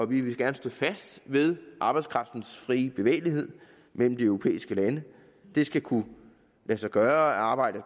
vi vil gerne stå fast ved arbejdskraftens frie bevægelighed mellem de europæiske lande det skal kunne lade sig gøre at arbejde